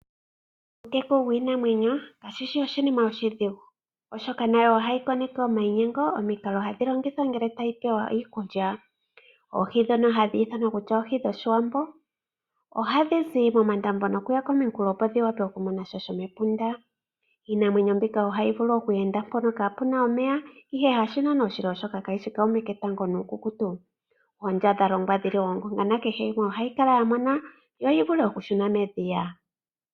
Uuteku wiinamwenyo kashishi oshinima oshidhigu oshoka nayo ohayi koneke omayinyengo omikalo hadhi longithwa ngele tayi pewa iikulya. oohi ndhono hadhi ithanwa kutya oohi dhoshiwambo ohadhizi momandambo nokuya komikulo opo dhi vule oku monasha shomepunda iinamwenyo mbika ohayi vulu oku enda mpono kapuna omeya ihe hasho naana oshili ,oshoka kaishi kuume ketango nuukukutu oondya ya longwa yongonga nakehe yimwe yikale ya mona yo yi vule okukala ya mona yo yi vule okushuna medhiya.